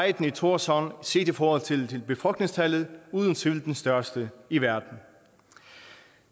i thorshavn set i forhold til befolkningstallet uden tvivl blevet den største i verden